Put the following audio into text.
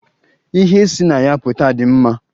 Ihe si na ya pụta dị mma.